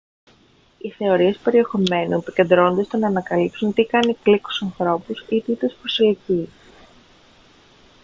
οι θεωρίες περιεχομένου επικεντρώνονται στο να ανακαλύψουν τι κάνει κλικ στους ανθρώπους ή τι τους προσελκύει